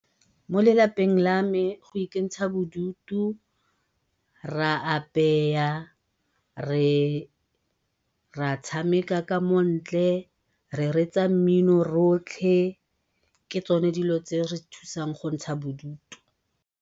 Mo lelapeng la me go ikentsha bodutu re a re, re a tshameka ka mo ntle, re reetsa mmino rotlhe, ke tsone dilo tse di re thusang go ntsha bodutu.